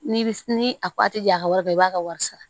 N'i bi ni a ja a ka wari bɛɛ i b'a ka wari sara